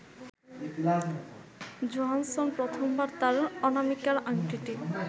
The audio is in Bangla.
জোহানসন প্রথমবার তার অনামিকার আংটিটি